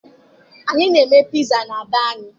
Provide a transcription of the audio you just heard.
Anyị na-eme piza na be anyị